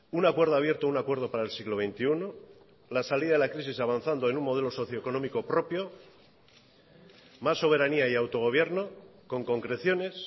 un acuerdo abierto un acuerdo para el siglo veintiuno la salida de la crisis avanzando en un modelo socioeconómico propio más soberanía y autogobierno con concreciones